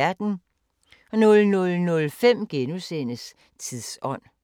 00:05: Tidsånd *